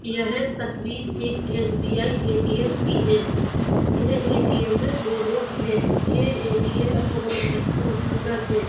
यह तस्वीर एक एसबीआई एटीएम की है। यह एटीएम में दो लोग हैं। यह एटीएम बहोत ही खूबसूरत है।